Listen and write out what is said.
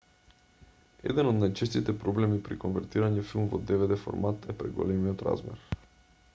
еден од најчестите проблеми при конвертирање филм во dvd-формат е преголемиот размер